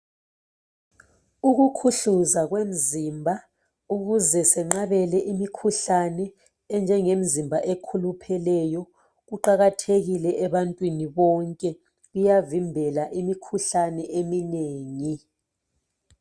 Ukukhuhluza kwemizimba ukuze senqabele imikhuhlane enjengemizimba ekhulupheleyo kuqakathekile ebantwini bonke kuyavimbela emikhuhlaneni eminengi.